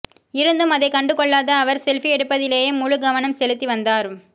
இருந்தும் அதைக் கண்டுகொள்ளாத அவர் செல்ஃபி எடுப்பதிலேயே முழுக் கவனம் செலுத்தி வந்தார்